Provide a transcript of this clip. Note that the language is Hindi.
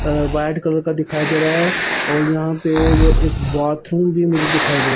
अ व्हाइट कलर का दिखाई दे रहा है और यहां पे जो एक बाथरूम भी मुझे दिखाई दे--